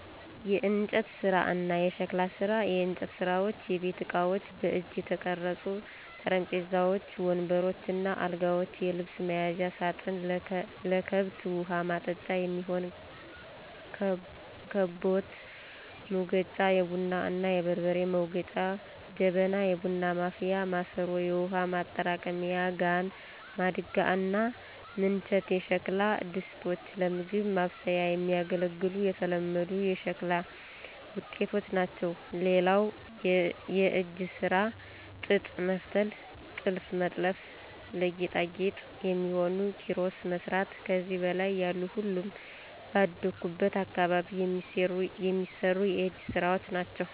**የእንጨት ስራ እና የሸክላ ስራ፦ *የእንጨት ስራዎች * የቤት እቃዎች: በእጅ የተቀረጹ ጠረጴዛዎች፣ ወንበሮች እና አልጋዎች፣ የልብስ መያዣ ሳጥን፣ ለከብት ውሀ ማጠጫ የሚሆን ከበታ፣ ሙገጫ(የቡና እና የበርበሬ መውገጫ) ጀበና (የቡና ማፍያ ማሰሮ)፣ የውሃ ማጠራቀሚያ ጋን፣ ማድጋ እና ምንቸት የሸክላ ድስቶች ለምግብ ማብሰያ የሚያገለግሉ የተለመዱ የሸክላ ውጤቶች ናቸው። *ሌላው የእጅ ስራ ጥጥ መፍተል *ጥልፍ መጥለፍ *ለጌጣጌጥ የሚሆኑ ኪሮስ መስራት ከዚህ በላይ ያሉ ሁሉም ባደኩበት አካባቢ የሚሰሩ የእጅ ስራወች ናቸው።